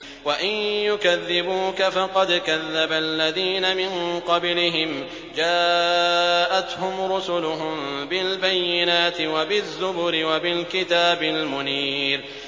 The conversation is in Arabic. وَإِن يُكَذِّبُوكَ فَقَدْ كَذَّبَ الَّذِينَ مِن قَبْلِهِمْ جَاءَتْهُمْ رُسُلُهُم بِالْبَيِّنَاتِ وَبِالزُّبُرِ وَبِالْكِتَابِ الْمُنِيرِ